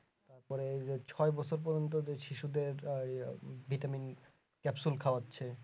মানে এই যে ছয় বছর পর্যন্ত যে শিশুদের আহ vitamin capsule খাওয়াচ্ছে